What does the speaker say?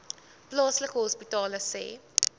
plaaslike hospitale sê